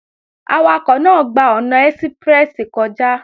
Awakọ̀ náà gba ọ̀nà ẹ́síprẹ́sì kọjá